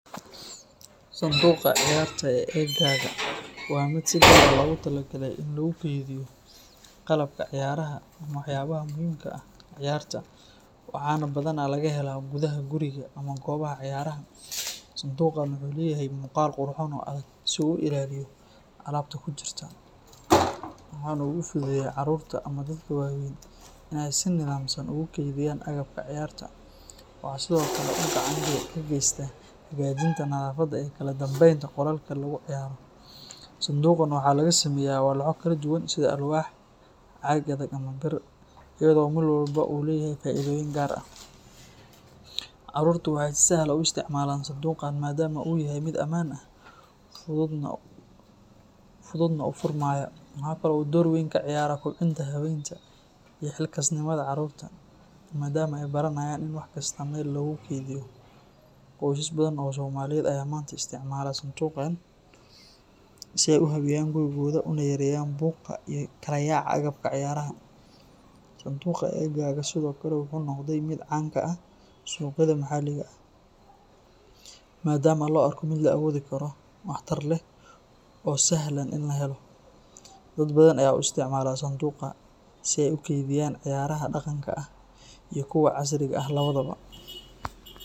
Sanduuqa ciyarta e gaga wa mid si daba logatala galay in lagu keydhiyo qalabka ciyaraha ama waxayabaha muhimka aah ciyarta. Waxana badana lagahela guda guriga ama gobaha ciyaraha. Sanduuqan wuxu leyahay muqal qurxoon o adag ay siweyn u ilaaliyo alabta kujirta waxana ugu fududeya carurta ama dadaka wa weeyn inay si nadaamsan ugu keeydiyan agabka ciyarta, waxa sido kale gacan bedex kageysta hagajinta nadhafada kala dambeynta qolalka lagu ciyaro. Sanduuqan waxa lagasameya waxyalo kala duwan sida alwaax caga adag ama Biir, iyadao marwalba u leyahay faa'iidoyin gar ah carurta wax sahal u isticmalan sanduuqan maadama u yahay mid aman ah fududna ufurmayo . Waxakala u dowr weyn kaciyaara kobciinta haweenka iyo xilkasnimada carurta maadama ay baranayan in waxkasta Meel lagu keeydhiyo qoysas badan o Somaliyeed aya manta isticmala sanduuqan si ay u habeeyan gurigoida una yareeyan buuqa uyo kala yaac agabka ciyaraha. Sanduuqan agan waxa sido kale wuxu noqday mid caan ka aah suqyada maxaliga aah madama lo arko mid lawoodi karo waxtar leeh o sahlan in lahelo dad badan aya u isticamala sanduuqa si aya u keydiyan ciyaraha daqanka iyo kuwa casriga 2